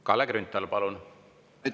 Kalle Grünthal, palun!